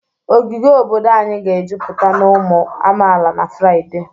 Ogige obodo anyị ga-ejupụta na ụmụ amaala na Fraịde